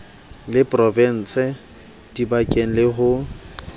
la provinse dibankeng le ho